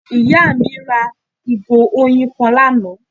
Ìyá à mí ra ìgò oyin kan lánàá